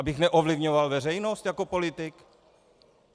Abych neovlivňoval veřejnost jako politik?